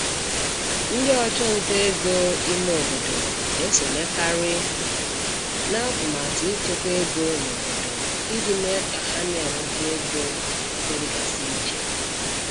Ndị ọchụnta ego ime obodo na-esonyekarị n'atụmatụ ịchekwa ego n'obodo iji mee ka ha na-enweta ego n'ebe dịgasị iche.